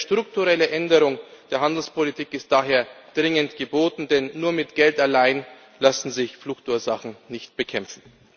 Ich denke, eine strukturelle Änderung der Handelspolitik ist daher dringend geboten, denn nur mit Geld allein lassen sich Fluchtursachen nicht bekämpfen.